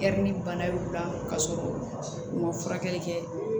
bana y'u la ka sɔrɔ u ma furakɛli kɛ